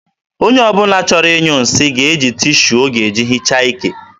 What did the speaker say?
onye ọ bụla chọrọ ịnyụ nsị ga-eji tishu ọ ga-eji hichaa ike.